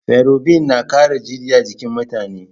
Ferobinna ƙara jini a jikin mutane.